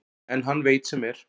En hann veit sem er.